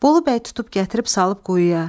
Bolu bəy tutub gətirib salıb quyuya.